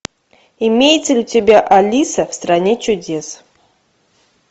имеется ли у тебя алиса в стране чудес